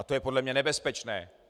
A to je podle mě nebezpečné.